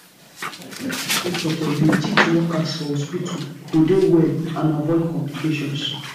sick pipo suppose dey teach workers for hospitu to dey well and avoid complications